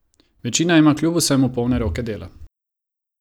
Večina ima kljub vsemu polne roke dela.